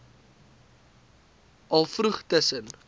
al vroeg tussen